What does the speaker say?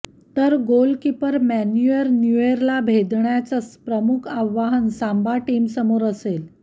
तर goalkeeper Manuel न्यूएरला भेदन्याचं प्रमुख आव्हान सांबा टीमसमोर असेल